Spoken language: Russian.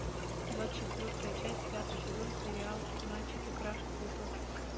двадцать четвертая часть пятый сезон сериал мальчики краше цветов